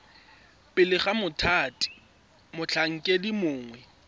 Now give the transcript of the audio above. pele ga mothati motlhankedi mongwe